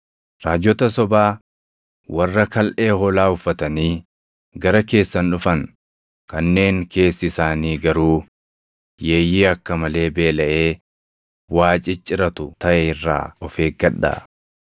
“Raajota sobaa warra kalʼee hoolaa uffatanii gara keessan dhufan, kanneen keessi isaanii garuu yeeyyii akka malee beelaʼee waa cicciratu taʼe irraa of eeggadhaa.